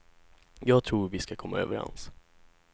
Jag tror vi ska komma överens.